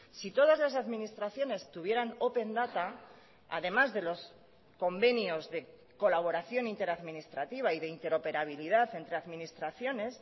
si todas las administraciones tuvieran open data además de los convenios de colaboración inter administrativa y de interoperabilidad entre administraciones